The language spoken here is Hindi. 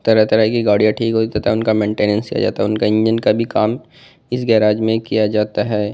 तरह तरह की गाड़ियां ठीक हुई तथा उनका मेंटेनेंस किया जाता उनका इंजन का भी काम इस गेराज में किया जाता है।